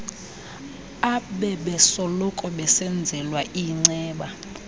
abebesoloko besenzelwa iinceba